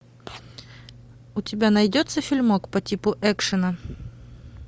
у тебя найдется фильмок по типу экшена